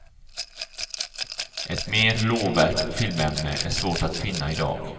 Ett mer lovvärt filmämne är svårt att finna i dag.